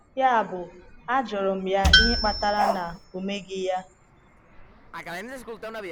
Yabụ, ajụrụ m ya ihe kpatara na ọ meghị ya.